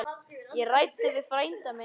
Ég ræddi við frænda minn.